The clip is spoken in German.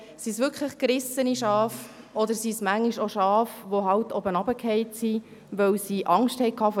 Sind es wirklich gerissene Schafe, oder sind es manchmal auch Schafe, die heruntergefallen sind, weil sie Angst vor